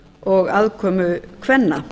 og aðkomu kvenna